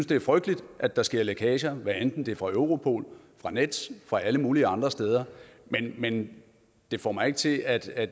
det er frygteligt at der sker lækager hvad enten det er fra europol fra nets fra alle mulige andre steder men det får mig ikke til at at